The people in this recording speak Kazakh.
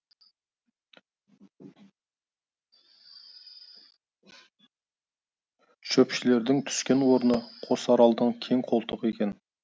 шөпшілердің түскен орны қосаралдың кең қолтығы екен